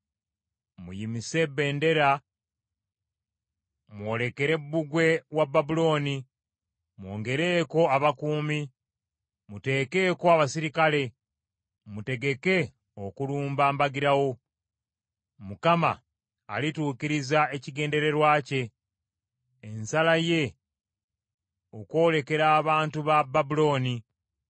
Muyimuse bendera mwolekere bbugwe wa Babulooni! Mwongereko abakuumi, muteekeko abaserikale, mutegeke okulumba mbagirawo! Mukama alituukiriza ekigendererwa bye, ensala ye okwolekera abantu ba Babulooni.